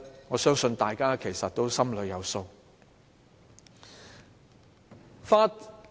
我相信大家心裏有數。